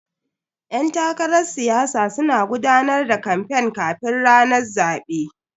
Yan takarar siyasa suna gudanar da kamfen kafin ranar zabe.